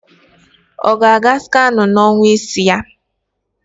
Ọ ga-aga scanụ n'ọnwa isii ya